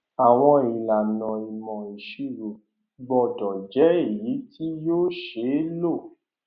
àwọn ìlànà ìmọ ìṣirò gbọdọ jẹ èyí tí yóò ṣeé lò